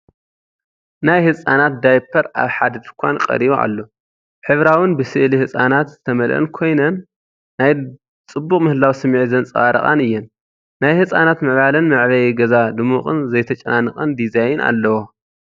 ናይ ህጻናት ዳያፐር ኣብ ሓደ ድኳን ቀሪቡ ኣሎ። ሕብራዊን ብስእሊ ህጻናት ዝተመልአን ኮይነን፡ ናይ ጽቡቕ ምህላው ስምዒት ዘንጸባርቓን እየን፤ ናይ ህጻናት ምዕባለን መዕበዪን ገዛ ድሙቕን ዘይተጨናነቐን ዲዛይን ኣለዎ።